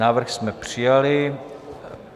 Návrh jsme přijali.